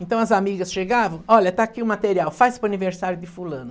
Então as amigas chegavam, olha, está aqui o material, faz para o aniversário de fulano.